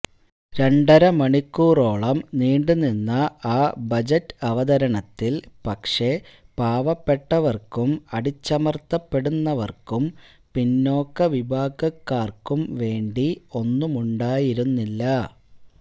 രണ്ടര മണിക്കൂറോളം നീണ്ടു നിന്ന ആ ബജറ്റ് അവതരണത്തില് പക്ഷേ പാവപ്പെട്ടവര്ക്കും അടിച്ചമര്ത്തപ്പെടുന്നവര്ക്കും പിന്നാക്കവിഭാഗക്കാര്ക്കും വേണ്ടി ഒന്നുമുണ്ടായിരുന്നില്ല